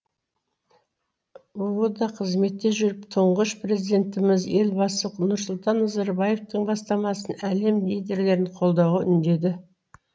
бұ да қызметте жүріп тұңғыш президентіміз елбасы нұрсұлтан назарбаевтың бастамасын әлем лидерлерін қолдауға үндеді